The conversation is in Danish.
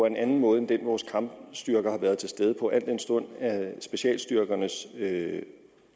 en anden måde end den vores kampstyrker har været til stede på al den stund specialstyrkernes